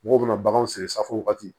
Mɔgɔw bɛna baganw sɛgɛrɛ safo wagati